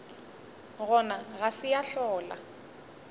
gona ga se ya hlola